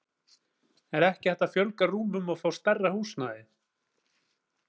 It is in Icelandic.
Er ekki hægt að fjölga rúmum og fá stærra húsnæði?